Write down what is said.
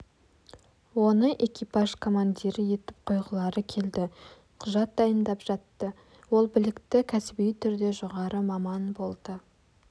оны экипаж командирі етіп қойғылары келді құжат дайындап жатты ол білікті кәсіби түрде жоғары маман болды